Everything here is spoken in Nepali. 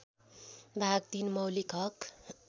भाग ३ मौलिक हक